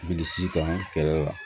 Bilisi kan kɛlɛ